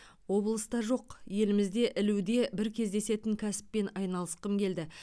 облыста жоқ елімізде ілуде бір кездесетін кәсіппен айналысқым келді